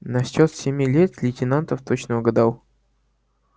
насчёт семи лет лейтенантов точно угадал